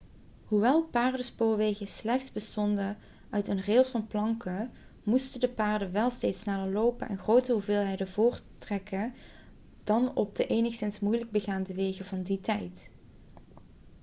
hoewel paardenspoorwegen slechts bestonden uit een rails van planken moesten de paarden wel steeds sneller lopen en grotere hoeveelheden voorttrekken dan op de enigszins moeilijk begaanbare wegen van die tijd